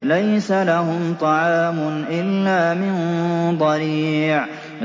لَّيْسَ لَهُمْ طَعَامٌ إِلَّا مِن ضَرِيعٍ